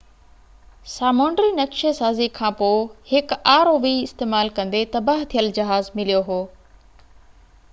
سامونڊي نَقشي سازي کان پوءِ هڪ rov استعمال ڪندي تباهه ٿيل جهاز مليو هو